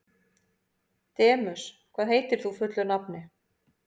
Demus, hvað heitir þú fullu nafni?